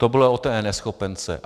To bylo o té eNeschopence.